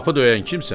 Qapı döyən kimsən?